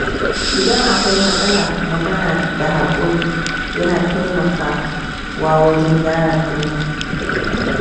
Idan akwai matsala, magana da haƙuri yana taimakawa wajen gyara komai.